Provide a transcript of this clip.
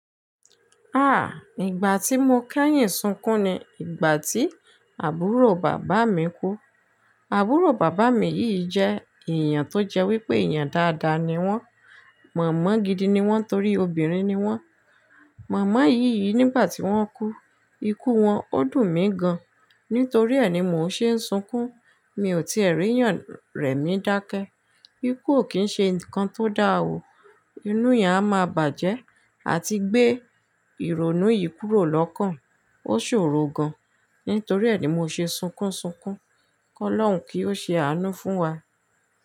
Ah! Ìgbà tí mo kẹ́yìn sunkún ni ìgbà tí àbúrò bàbá mi kú. Àbúrò bàbá mi yìí jẹ́ èèyàn tó jẹ wípé èèyàn dáadáa ni wọ́n, mọ̀mọ́ gidi ni wọ́n torí obìnrin ni wọ́n. Mọ̀mọ́ yìí yìí nígbà tí wọ́n kú, ikú wọn ó dùn mí gan. Nítorí ẹ ni mò ń ṣe ń sunkún, mi ò tí re'eeyàn rẹ̀ mí dákẹ́. Ikú ò kí ń ṣe nǹkan tó dáa ò, inú èèyàn a máa bàjẹ́. A ti gbé ìrònú yìí kúrò lọ́kàn, ó ṣòro gan. Nítorí ẹ ni mò ń ṣe sunkún sunkún. Ọlọ́run kí ó ṣe àánú fún wa.